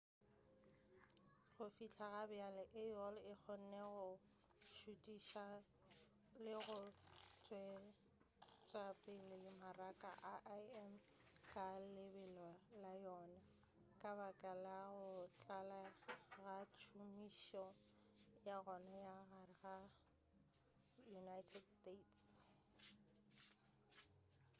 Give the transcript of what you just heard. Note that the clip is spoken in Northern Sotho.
go fihla gabjale aol e kgonne go šothiša le go tšwetšapele mmaraka wa im ka lebelo la yona ka baka la go tlala ga tšhomišo ya yona ka gare ga united states